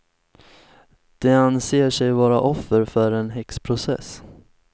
De anser sig vara offer för en häxprocess.